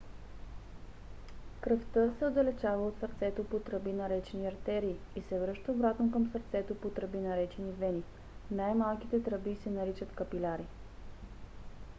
кръвта се отдалечава от сърцето по тръби наречени артерии и се връща обратно към сърцето по тръби наречени вени . най-малките тръби се наричат капиляри